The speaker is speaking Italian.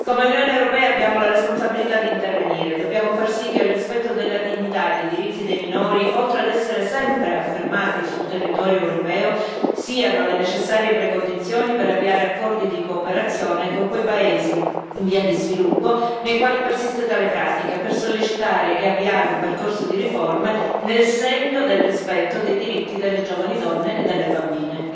Come Unione europea, abbiamo la responsabilità di intervenire dobbiamo far sì, che il rispetto della dignità e dei diritti dei minori, oltre ad essere sempre affermati sul territorio europeo, siano le necessarie premesse per avviare accordi di cooperazione con quei paesi in via di sviluppo nei quali persiste tale pratica, per sollecitare e avviare un percorso di riforme, nel segno del rispetto dei diritti delle giovani donne e delle bambine.